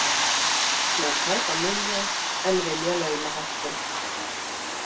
Með tæpa milljón en vilja launahækkun